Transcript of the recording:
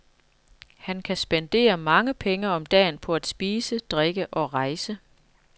Han kan spendere mange penge om dagen på at spise, drikke og rejse.